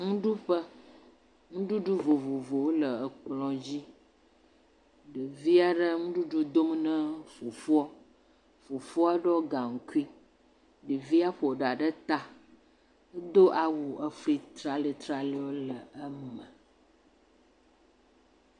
Nuɖuƒe, nuɖuɖu vovowo le ekplɔ dzi ɖevi aɖe le nuɖuɖu dom na fofoa, ɖevia ƒo ɖa ɖe ta edo awi efli traletrale aɖwo le eme.